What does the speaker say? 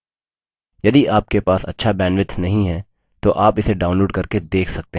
यदि आपके पास अच्छा bandwidth नहीं है तो आप इसे download करके देख सकते हैं